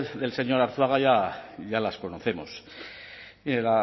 del señor arzuaga ya las conocemos mire